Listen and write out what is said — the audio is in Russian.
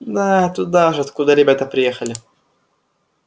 да туда же откуда ребята приехали